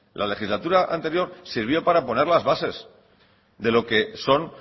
la legislatura anterior sirvió para poner las bases de lo que son